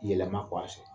Yɛlɛma